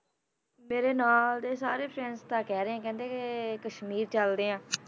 ਮੇਰੇ ਨਾਲ ਦੇ ਸਾਰੇ friends ਤਾਂ ਕਹਿ ਰਹੇ ਆ, ਕਹਿੰਦੇ ਕਿ ਕਸ਼ਮੀਰ ਚੱਲਦੇ ਹਾਂ